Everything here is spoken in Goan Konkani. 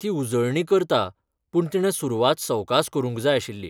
ती उजळणी करता पूण तिणें सुरवात सवकास करूंक जाय आशिल्ली.